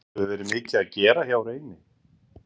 Hefur verið mikið að gera hjá Reyni?